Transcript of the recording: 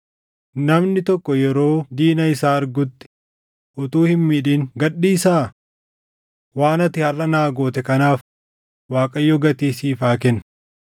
Namni tokko yeroo diina isaa argutti utuu hin miidhin gad dhiisaa? Waan ati harʼa naa goote kanaaf Waaqayyo gatii siif haa kennu.